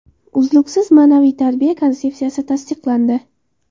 Uzluksiz ma’naviy tarbiya konsepsiyasi tasdiqlandi.